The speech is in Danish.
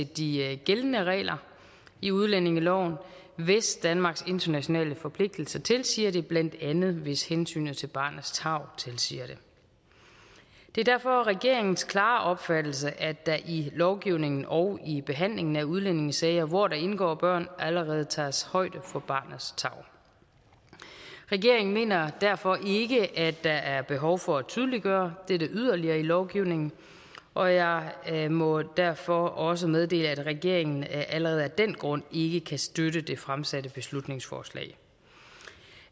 de gældende regler i udlændingeloven hvis danmarks internationale forpligtelse tilsiger det blandt andet hvis hensynet til barnets tarv tilsiger det det er derfor regeringens klare opfattelse at der i lovgivningen og i behandlingen af udlændingesager hvor der indgår børn allerede tages højde for barnets tarv regeringen mener derfor ikke at der er behov for at tydeliggøre dette yderligere i lovgivningen og jeg jeg må derfor også meddele at regeringen allerede af den grund ikke kan støtte det fremsatte beslutningsforslag